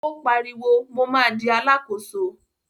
Ó pariwo, mo ma di Alákóso!